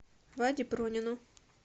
ваде пронину